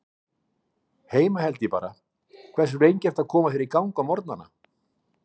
Heima held ég bara Hversu lengi ertu að koma þér í gang á morgnanna?